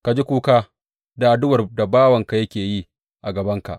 Ka ji kuka da addu’ar da bawanka yake yi a gabanka.